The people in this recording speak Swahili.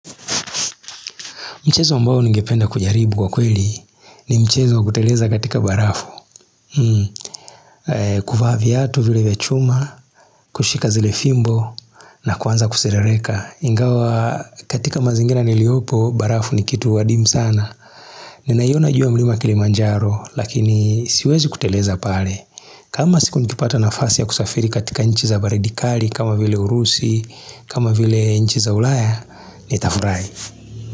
Mchezo ambao ningependa kujaribu kwa kweli ni mchezo wa kuteleza katika barafu. Kuvaa viatu vile vya chuma, kushika zile fimbo na kwanza kuserereka. Ingawa katika mazingira niliopo, barafu ni kitu wadim sana. Ninaiona juu ya mlima kilimanjaro, lakini siwezi kuteleza pale. Kama siku nikipata nafasi ya kusafiri katika nchi za baridikali, kama vile urusi, kama vile nchi za ulaya, ni tafurai.